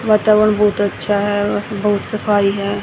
वातावरण बहुत अच्छा है बहुत सफाई है।